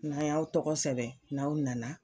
N'an y'aw tɔgɔ sɛbɛn n'aw nana